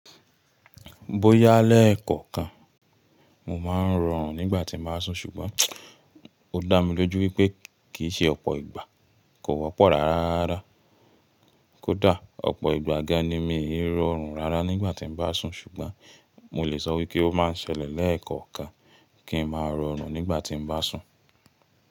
Bóyá lẹ́ẹ̀kọ̀kan, mo máa ń rọrùn nígbà tí mo bá sùn, ṣùgbọ́n ó dá mi lójú wípé kìí ṣe ọ̀pọ̀ ìgbà kò wọ́pọ̀ rárá. Kódà ọ̀pọ̀ ìgbà gan ni mi ò rọrùn rárá nígbà tí mo bá sùn, ṣùgbọ́n mo lè sọ wípé ó máa ń ṣẹlẹ̀ lẹ́ẹ̀kọ̀kan kí n máa rọrùn nígbà tí mo bá sùn.